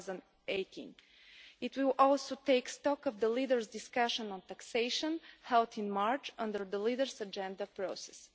2018. It will also take stock of the leaders' discussion on taxation held in March under the Leaders' Agenda process.